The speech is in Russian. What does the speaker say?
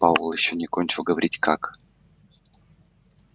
пауэлл ещё не кончил говорить как